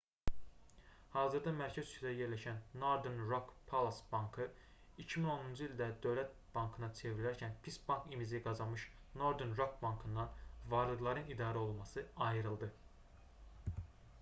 hazırda mərkəz küçədə yerləşən northern rock plc. bankı 2010-cu ildə dövlət bankına çevrilərkən pis bank imici qazanmış northern rock bankından varlıqların i̇darəolunması ayrıldı